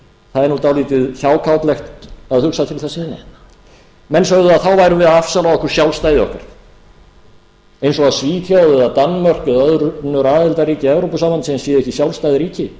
það er dálítið hjákátlegt að hugsa til þess menn sögðu að þá værum við að afsala okkur sjálfstæði okkar eins og svíþjóð eða danmörk eða önnur aðildarríki evrópusambandsins séu ekki sjálfstæð ríki